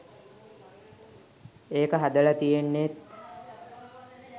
ඒක හදල තියෙන්නෙත්